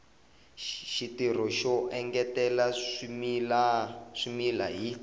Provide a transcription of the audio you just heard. xitirho xo engetela swimila hi